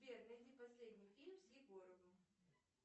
сбер найди последний фильм с егоровым